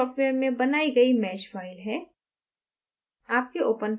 यह meshing software में बनाई गई mesh file है